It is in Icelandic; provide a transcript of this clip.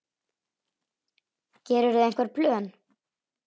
Gerirðu einhver plön?